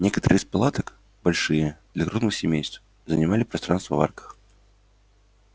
некоторые из палаток большие для крупных семейств занимали пространство в арках